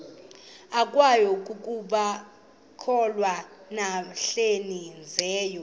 kwabangekakholwa nabahlehli leyo